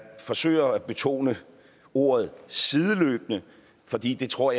forsøger at betone ordet sideløbende fordi jeg tror